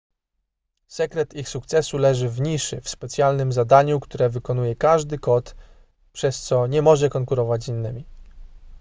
sekret ich sukcesu leży w niszy w specjalnym zadaniu które wykonuje każdy kot przez co nie może konkurować z innymi